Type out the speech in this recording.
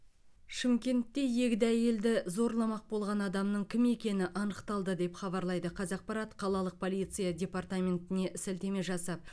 шымкентте егде әйелді зорламақ болған адамның кім екені анықталды деп хабарлайды қазақпарат қалалық полиция департаментіне сілтеме жасап